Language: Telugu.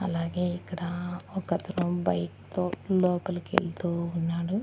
అలాగే ఇక్కడ ఒకతను బైక్ తో లోపలికి వెళ్తూ ఉన్నాడు.